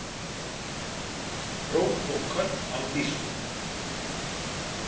Hróp og köll á þýsku.